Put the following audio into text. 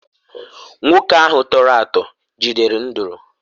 nwoke ahụ tọrọ atọ jidere nduru